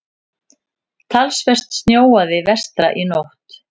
Talsvert snjóaði vestra í nótt.